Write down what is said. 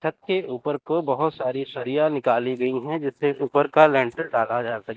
छत के ऊपर को बहोत सारी सरिया निकाली गई है जिससे ऊपर का लेंटर डाला जा स --